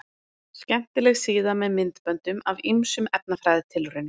Skemmtileg síða með myndböndum af ýmsum efnafræðitilraunum.